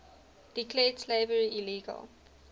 declared slavery illegal